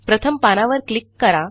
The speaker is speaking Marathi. प्रथम पानावर क्लिक करा